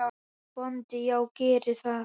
BÓNDI: Já, gerið það.